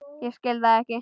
Ég skil það ekki.